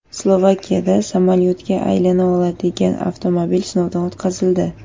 Slovakiyada samolyotga aylana oladigan avtomobil sinovdan o‘tkazildi.